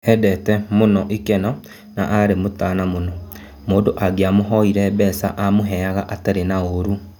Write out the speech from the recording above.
"Endete mũno ikeno na arĩ mũtana mũno, mũndũ angiamũhoire mbeca amũheaga atarĩ na ũru".